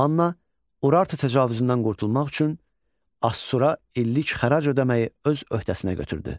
Manna Urartu təcavüzündən qurtulmaq üçün Assura illik xərac ödəməyi öz öhdəsinə götürdü.